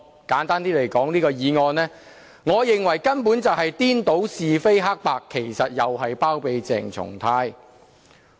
簡單來說，我認為這項議案根本顛倒是非黑白，其實又在包庇鄭松泰議員。